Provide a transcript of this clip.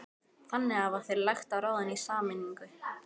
Þannig hafa þeir lagt á ráðin í sameiningu